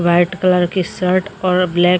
white colour की shirt और black ।--